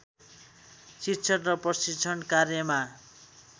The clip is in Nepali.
शिक्षण र प्रशिक्षण कार्यमा